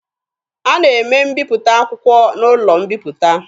A na-eme mbiputa akwụkwọ n'ụlọ mbiputa.